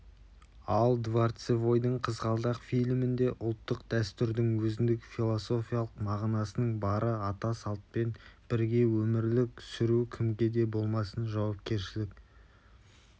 ал дворцевойдың қызғалдақ фильмінде ұлттық дәстүрдің өзіндік философиялық мағынасының бары ата салтпен бірге өмір сүру кімге де болмасын жауапкершілік